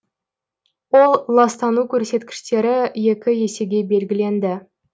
ол ластану көрсеткіштері екі есеге белгіленді